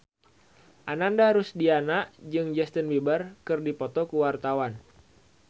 Ananda Rusdiana jeung Justin Beiber keur dipoto ku wartawan